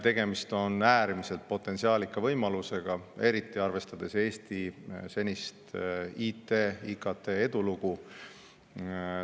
Tegemist on äärmiselt potentsiaalika võimalusega, eriti arvestades Eesti senist IT ja IKT edulugu.